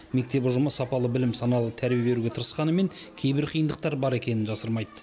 мектеп ұжымы сапалы білім саналы тәрбие беруге тырысқанымен кейбір қиындықтар бар екенін жасырмайды